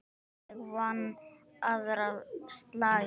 En ég vann aðra slagi.